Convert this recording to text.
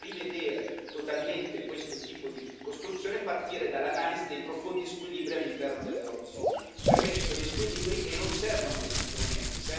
Bisognerebbe rivedere totalmente questo tipo di costruzione e partire dall'analisi dei profondi squilibri all'interno dell'Eurozona, perché ci sono gli squilibri e non servono questi strumenti.